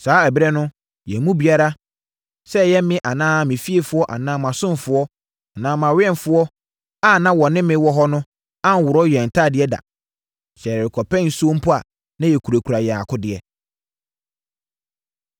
Saa ɛberɛ no, yɛn mu biara, sɛ ɛyɛ me anaa me fiefoɔ anaa mʼasomfoɔ anaa awɛmfoɔ a na wɔne me wɔ hɔ no anworɔ yɛn ntadeɛ da. Sɛ yɛrekɔpɛ nsuo mpo a na yɛkurakura yɛn akodeɛ.